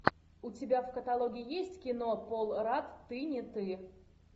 у тебя в каталоге есть кино пол рат ты не ты